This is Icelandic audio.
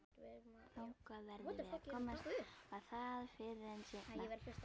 Þangað verðum við að komast og það fyrr en seinna.